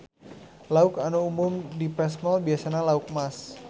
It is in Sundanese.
Lauk anu umum dipesmol biasana lauk emas.